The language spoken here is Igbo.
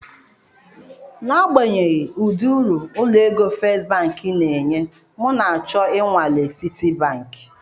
N'agbanyeghị ụdị uru ụlọ égo First Bank na-enye, m na-ahọrọ inwalee Citibank.